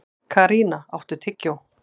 Karína, áttu tyggjó?